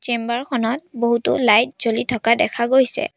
Chamber খনত বহুতো light জ্বলি থকা দেখা গৈছে।